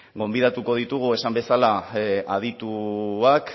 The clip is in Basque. gonbidatuko ditugu esan bezala adituak